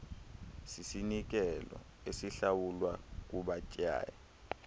sisinikelo esihlawulwa kubatyai